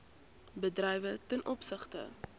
bedrywe ten opsigte